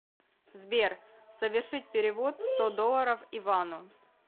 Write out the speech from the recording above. сбер совершить перевод сто долларов ивану